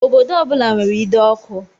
Obodo ọ bula nwèrè ide ọkụ.